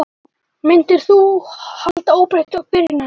Myndir þú halda óbreyttu byrjunarliði?